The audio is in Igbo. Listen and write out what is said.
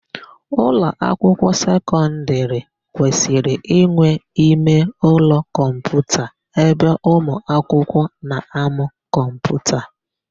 Ụlọakwụkwọ sekọndịrị kwesịrị inwe imeụlọ kọmputa ebe ụmụakwụkwọ na-amụ kọmputa.